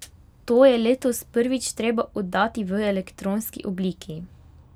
To je letos prvič treba oddati v elektronski obliki.